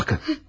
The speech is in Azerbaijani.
Baxın.